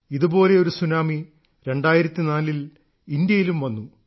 ഇതുപോലെ ഒരു സുനാമി 2004 ൽ ഇന്ത്യയിലും വന്നു